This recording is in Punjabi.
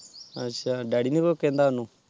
ਅੱਛਾ ਡੈਡੀ ਨੇ ਕੁਜ ਕਹਿੰਦਾ ਓਹਨੂੰ